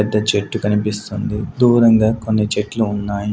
పెద్ద చెట్టు కనిపిస్తుంది దూరంగా కొన్ని చెట్లు ఉన్నాయి.